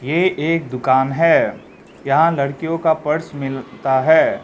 ये एक दुकान है यहां लड़कियों का पर्स मिलता है।